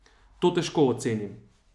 To težko ocenim.